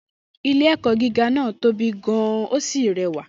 Ilé-ẹ̀kọ́ gíga náà tóbi gan-an ó sì rẹwà.